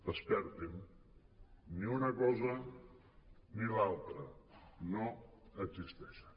despertin ni una cosa ni l’altra no existeixen